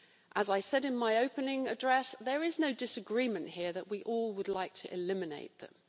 As I said in my opening address, there is no disagreement here that we all would like to eliminate them.